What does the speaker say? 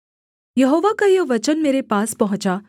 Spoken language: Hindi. यहोवा का यह वचन मेरे पास पहुँचा